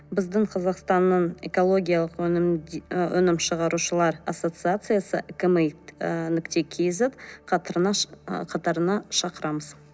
біздің қазақстанның экологиялық өнім і өнім шығарушылар ассоциациясы экомейт ы нүкте кз ы қатарына шақырамыз